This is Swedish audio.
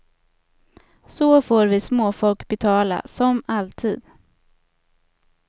Så får vi småfolk betala, som alltid.